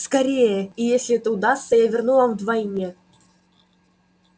скорее и если это удастся я верну вам вдвойне